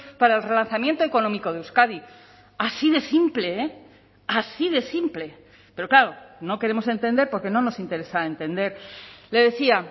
para el relanzamiento económico de euskadi así de simple eh así de simple pero claro no queremos entender porque no nos interesa entender le decía